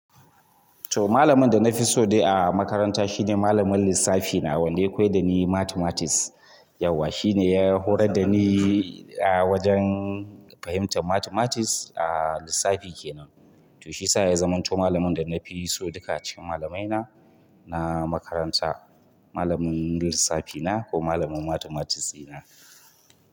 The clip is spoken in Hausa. To malamin da na fi so dai a makaranta shine malamin lissafi na wanda ya koya da ni mathematics. Yauwa shine ya horar da ni a wajen fahimtar mathematics a lissafi kenan. To shi sa ya zamo to malamin da na fi so duka cikin malamaina na makaranta. Malamin lissafi na ko malamin mathematics na.